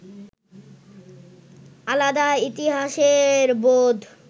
আলাদা ইতিহাসের বোধ